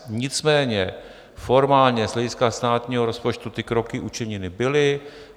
Nicméně formálně, z hlediska státního rozpočtu, ty kroky učiněny byly.